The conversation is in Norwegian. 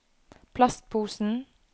plastposen